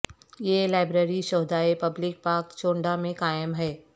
یہ لائبریری شھدائے public park Chawinda میں قائم ہے